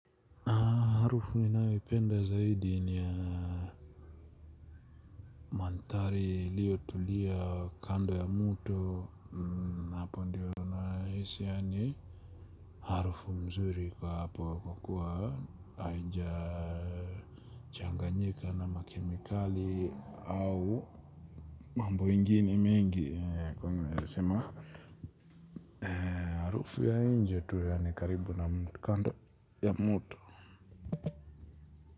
Harufu ninayoipenda zaidi ni ya mandhari iliyotulia kando ya mto hapo ndiyo nahisi yaani harufu mzuri kwa hapo kuwa haija changanyika na makemikali au mambo yengine mingi kwenye nasema harufu ya nje tu yaani karibu na kando ya mto.